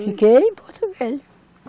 Fiquei em Porto Velho.